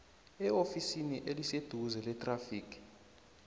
eofisini eliseduze lethrafigi